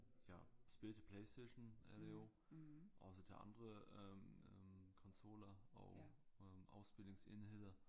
Ja spil til Playstation er det jo også til andre øh øh konsoller og øh afspilningsenheder